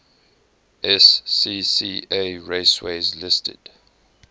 scca raceways listed